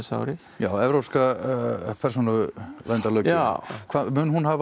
já evrópska persónuverndarlöggjöfin mun hún hafa